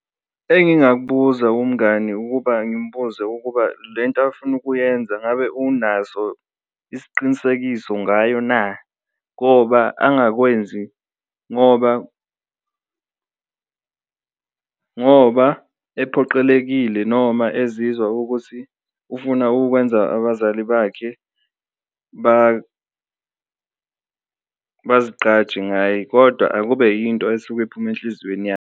Engingakubuza kumngani ukuba ngimbuze ukuba lento afuna ukuyenza ngabe unaso isiqinisekiso ngayo na, ngoba angakwenzi ngoba ngoba ephoqelekile noma ezizwa ukuthi ufuna ukwenza abazali bakhe bazigqaje ngaye, kodwa akube yinto esuke iphuma enhliziyweni yakhe.